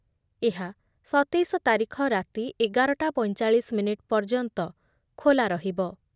ଏହା ସତେଇଶ ତାରିଖ ରାତି ଏଗାର ଟା ପଞ୍ଚଚାଳିଶ ମିନିଟ୍ ପର୍ଯ୍ୟନ୍ତ ଖୋଲା ରହିବ ।